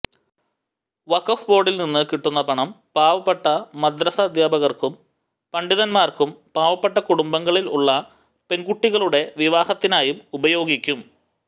വഖഫ് ബോർഡിൽനിന്ന് കിട്ടുന്ന പണം പാവപ്പെട്ട മദ്രസ അധ്യാപകർക്കും പണ്ഡിതന്മാർക്കും പാവപ്പെട്ട കുടുംബങ്ങളിൽ ഉള്ള പെൺകുട്ടികളുടെ വിവാഹത്തിനായും ഉപയോഗിക്കും